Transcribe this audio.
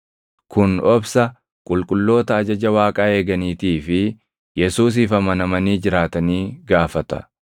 Kun obsa qulqulloota ajaja Waaqaa eeganiitii fi Yesuusiif amanamanii jiraatanii gaafata.